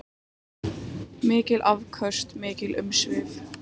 Mikil afköst og mikil umsvif.